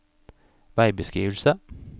veibeskrivelse